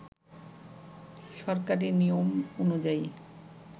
সরকারি নিয়ম অনুযায়ী